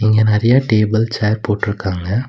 இங்க நெறைய table chair போட்ருக்காங்க.